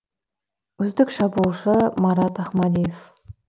үздік шабуылшы марат ахмадиев